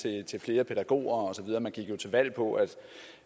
til flere pædagoger og så videre man gik jo til valg på at